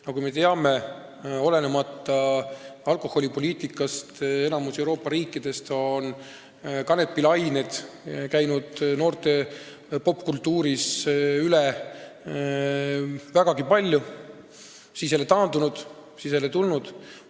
Nagu me teame, olenemata alkoholipoliitikast, on enamikus Euroopa riikidest kanepilained noorte popkultuurist vägagi palju üle käinud, nad on taandunud ja siis jälle tulnud.